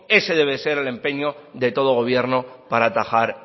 ese debe de ser el empeño de todo gobierno para atajar